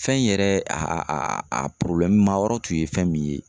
Fɛn in yɛrɛ a a ma yɔrɔ tun ye fɛn min ye